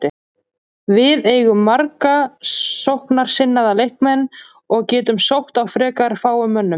Við eigum marga sóknarsinnaða leikmenn og getum sótt á frekar fáum mönnum.